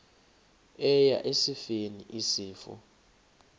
eya esifeni isifo